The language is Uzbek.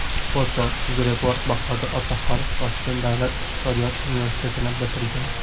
Foto UzReport Bahodir Otaxonov Toshkent davlat iqtisodiyot universitetini bitirgan.